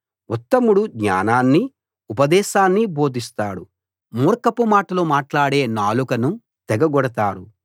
ఉత్తముడు జ్ఞానాన్ని ఉపదేశాన్ని బోధిస్తాడు మూర్ఖపు మాటలు మాట్లాడే నాలుకను తెగ గొడతారు